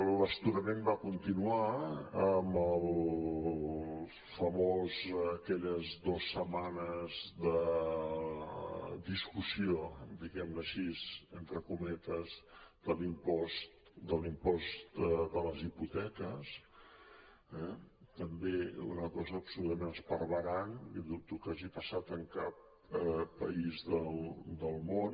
l’astorament va continuar amb les famoses aquelles dues setmanes de discussió diguem ho així entre cometes de l’impost de les hipoteques també una cosa absolutament esparverant i dubto que hagi passat en cap país del món